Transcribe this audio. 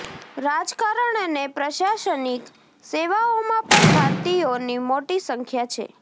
રાજકારણ અને પ્રશાસનિક સેવાઓમાં પણ ભારતીયોની મોટી સંખ્યા છે